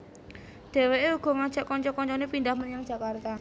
Dheweke uga ngajak kanca kancane pindhah menyang Jakarta